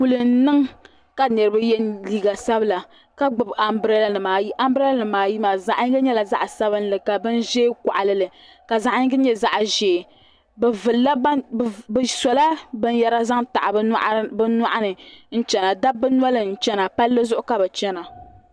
Kuli n niŋ ka niriba yɛ liiga sabila ka gbubi ambirɛɛlanima ayi ambirɛɛlanima ayi maa zaɣ yinga nyɛla zaɣ sabinli ka bin ʒɛɛ kɔɣili li ka zaɣ yingi nyɛ zaɣ ʒɛɛ bɛ vilila bɛ sɔla binyɛra zaŋ taɣi bɛ nyɔɣiri ni n chana dabba noli n chana palli zuɣu ka bɛ chana